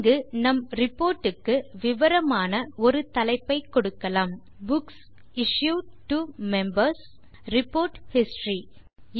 இங்கு நம் ரிபோர்டுக்கு விவரமான ஒரு தலைப்பை கொடுக்கலாம் books issued to Members report history